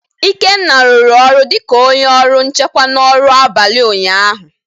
Ikenna rụrụ ọrụ dị ka onye ọrụ nchekwa na ọrụ abalị ụnyaahụ.